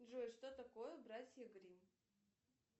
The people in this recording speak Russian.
джой что такое братья гримм